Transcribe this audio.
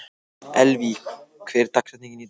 Elvý, hver er dagsetningin í dag?